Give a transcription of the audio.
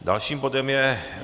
Dalším bodem je